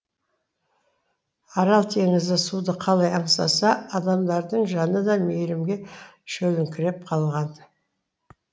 арал теңізі суды қалай аңсаса адамдардың жаны да мейірімге шөліңкіреп қалған